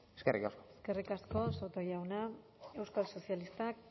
eskerrik asko eskerrik asko soto jauna euskal sozialistak